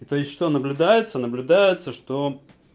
то есть что наблюдается наблюдается что